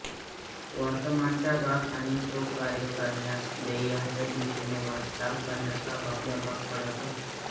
वर्तमानाचा भाग आणि तो कार्य करण्यास ध्येयाच्या दिशेने वाटचाल करण्यास आपल्याला भाग पडत असतो